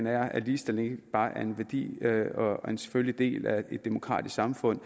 er at ligestilling ikke bare er en værdi og en selvfølgelig del af et demokratisk samfund